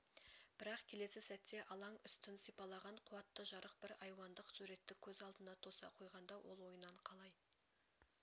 бірақ келесі сәтте алаң үстін сипалаған қуатты жарық бір айуандық суретті көз алдына тоса қойғанда ол ойынан қалай